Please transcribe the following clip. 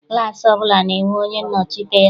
Klaasị ọbụla na-enwe onye nnọchite ha.